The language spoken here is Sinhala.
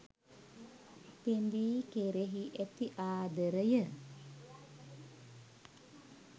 පෙඳී කෙරෙහි ඇති ආදරය